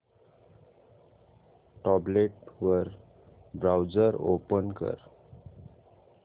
tablet वर browser open कर